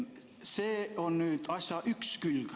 See on asja üks külg.